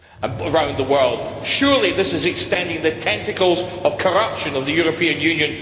Surely this is extending the tentacles of corruption of the European Union throughout the world?